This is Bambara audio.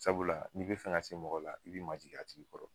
Sabula n'i bɛ fɛn ka se mɔgɔ la, i b'i majigin a tigi kɔrɔ